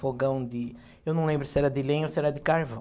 Fogão de... Eu não lembro se era de lenha ou se era de carvão.